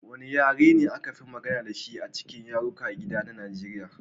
Wane yare ne aka fi magana da shi a cikin yarukan gida na Nigeriya?